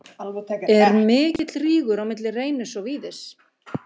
Er mikill rígur á milli Reynis og Víðis?